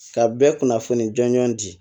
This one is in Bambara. Ka bɛɛ kunnafoni jɔnjɔn di